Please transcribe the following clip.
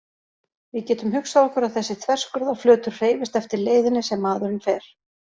Við getum hugsað okkur að þessi þverskurðarflötur hreyfist eftir leiðinni sem maðurinn fer.